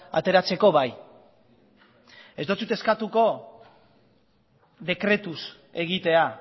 ateratzeko bai ez dotsut eskatuko dekretuz egitea